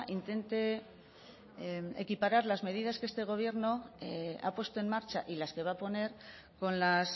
intente equiparar las medidas que este gobierno ha puesto en marcha y las que va a poner con las